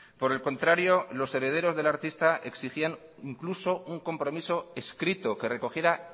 por el contrario los herederos del artista exigían incluso un compromiso escrito que recogiera